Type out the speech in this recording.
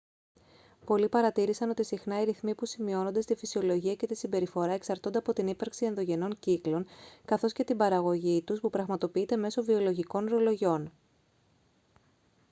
πολλοί παρατήρησαν ότι συχνά οι ρυθμοί που σημειώνονται στη φυσιολογία και τη συμπεριφορά εξαρτώνται από την ύπαρξη ενδογενών κύκλων καθώς και την παραγωγή τους που πραγματοποιείται μέσω βιολογικών ρολογιών